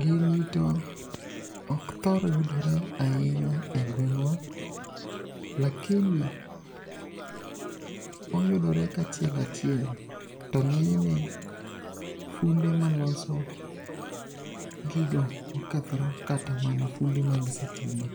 Gini to ok thor yudore ahinya e gwengwa, lakini oyudore kachiel achiel to nge'nyne funde maloso gigo ma okethore kata mana funde mag sitima